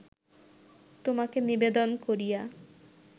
তোমাকে নিবেদন করিয়া